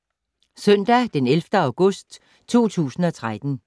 Søndag d. 11. august 2013